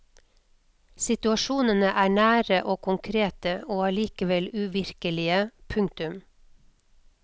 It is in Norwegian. Situasjonene er nære og konkrete og allikevel uvirkelige. punktum